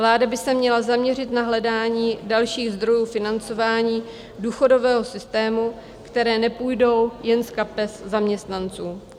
Vláda by se měla zaměřit na hledání dalších zdrojů financování důchodového systému, které nepůjdou jen z kapes zaměstnanců."